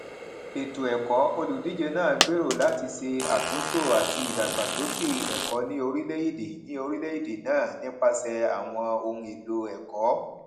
ètò ẹkọ olùdíje náà gbèrò láti ṣe àtúntò àti ìdàgbàsókè ẹkọ ní orílẹèdè ní orílẹèdè náà nípasẹ àwọn ohun èlò ẹkọ